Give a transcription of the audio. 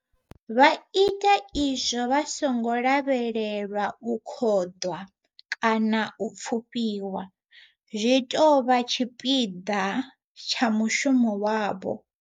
Vha khou ita izwo vha songo lavhelela u khoḓwa kana u pfufhiwa. Zwi tou vha tshipiḓa tsha mushumo wavho.